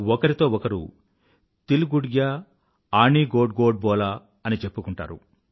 ఒకరితో ఒకరు తిల్ గుడ్ గ్యాఆణి గోడ్ గోడ్ బోలా అని చెప్పుకుంటారు